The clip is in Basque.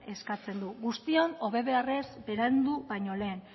eskatzen du guztion hobe beharrez berandu baino lehen